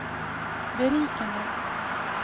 berikende